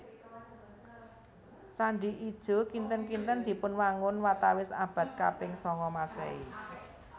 Candhi Ijo kinten kinten dipunwangun watawis abad kaping sanga Maséhi